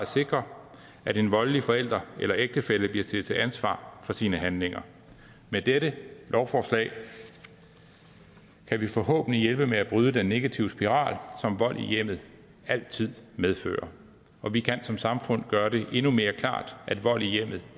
sikre at en voldelig forælder eller ægtefælle bliver stillet til ansvar for sine handlinger med dette lovforslag kan vi forhåbentlig hjælpe med at bryde den negative spiral som vold i hjemmet altid medfører og vi kan som samfund gøre det endnu mere klart at vold i hjemmet